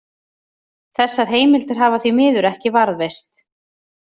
Þessar heimildir hafa því miður ekki varðveist.